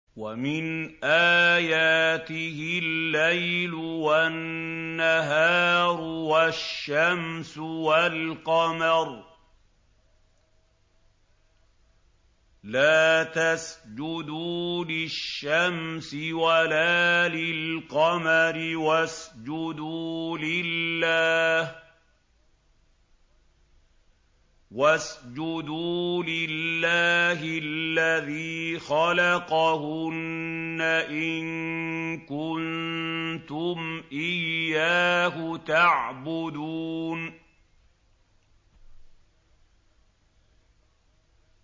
وَمِنْ آيَاتِهِ اللَّيْلُ وَالنَّهَارُ وَالشَّمْسُ وَالْقَمَرُ ۚ لَا تَسْجُدُوا لِلشَّمْسِ وَلَا لِلْقَمَرِ وَاسْجُدُوا لِلَّهِ الَّذِي خَلَقَهُنَّ إِن كُنتُمْ إِيَّاهُ تَعْبُدُونَ